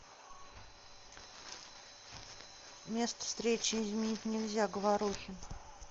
место встречи изменить нельзя говорухин